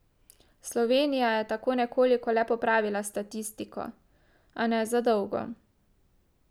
Slovenija je tako nekoliko le popravila statistiko, a ne za dolgo.